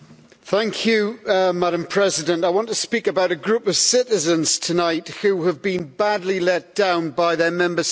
Madam President, I want to speak about a group of citizens tonight who have been badly let down by their Member State government.